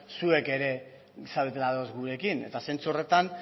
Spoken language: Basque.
zuek ere zaudetela ados gurekin eta zentzu horretan